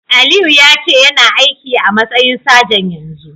Aliyu yace yana aiki a'matsayin sajan yanzun.